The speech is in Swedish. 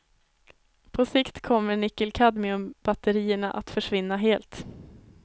På sikt kommer nickelkadmiumbatterierna att försvinna helt.